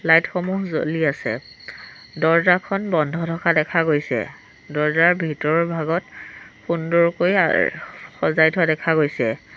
লাইটসমূহ জ্বলি আছে দৰ্জাখন বন্ধ থকা দেখা গৈছে দৰ্জাৰ ভিতৰৰ ভাগত সুন্দৰকৈ আহ সজাই থোৱা দেখা গৈছে।